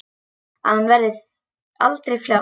Að hún verði aldrei frjáls.